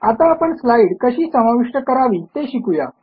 आता आपण स्लाईड कशी समाविष्ट करावी ते शिकू या